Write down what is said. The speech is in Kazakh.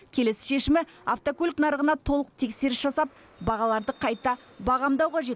келесі шешімі автокөлік нарығына толық тексеріс жасап бағаларды қайта бағамдау қажет